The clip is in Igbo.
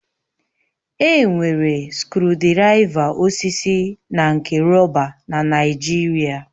Enwere skrụdiraiva osisi na nke rọba na Naịjirịa.